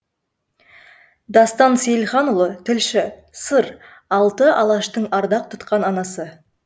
дастан сейілханұлы тілші сыр алты алаштың ардақ тұтқан анасы